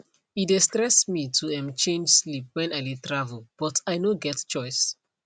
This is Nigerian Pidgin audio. e dey stress me to um change sleep when i dey travel but i no get choice